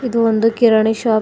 ಇದು ಒಂದು ಕಿರಣಿ ಶಾಪ್ ಇ--